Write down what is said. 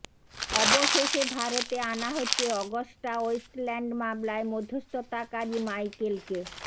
অবশেষে ভারতে আনা হচ্ছে অগস্টা ওয়েস্টল্যান্ড মামলায় মধ্যস্থতাকারী মাইকেলকে